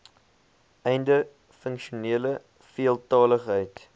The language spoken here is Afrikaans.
einde funksionele veeltaligheid